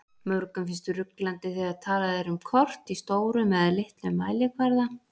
Mörgum finnst ruglandi þegar talað er um kort í stórum eða litlum mælikvarða.